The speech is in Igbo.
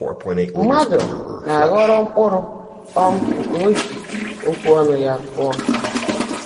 Mmádụ́ ná-ághọ́ọ́ró mkpụ́rụ́ um nkè ó jị́ ókwụ́ ọ́nụ́ yá kụ́ọ́.